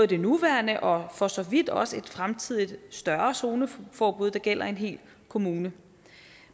det nuværende og for så vidt også et fremtidigt større zoneforbud der gælder i en hel kommune men